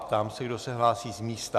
Ptám se, kdo se hlásí z místa.